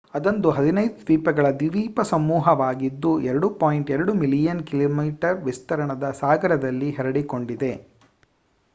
ಅದೊಂದು 15 ದ್ವೀಪಗಳ ದ್ವೀಪಸಮೂಹವಾಗಿದ್ದು 2.2 ಮಿಲಿಯನ್ ಕಿಮಿ ವಿಸ್ತೀರ್ಣದ ಸಾಗರದಲ್ಲಿ ಹರಡಿಕೊಂಡಿದೆ